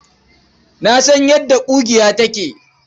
Na san yadda ƙugiya take.